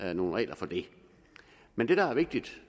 er nogle regler for det men det der er vigtigt